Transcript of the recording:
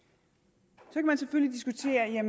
så kan man selvfølgelig diskutere